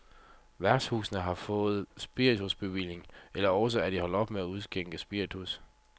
Værtshusene har fået spiritusbevilling eller også er de holdt op med at udskænke spiritus.